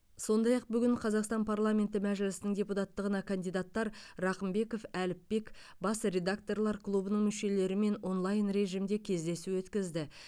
сондай ақ бүгін қазақстан парламенті мәжілісінің депутаттығына кандидаттар рақымбеков әліпбек бас редакторлар клубының мүшелерімен онлайн режимде кездесу өткізді